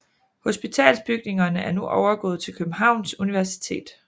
Hospitalsbygningerne er nu overgået til Københavns Universitet